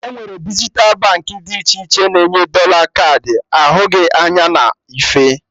Enwere dijital Baankị dị iche iche na-enye dọla kaadị ahụghị anya na ife